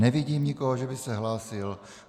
Nevidím nikoho, že by se hlásil.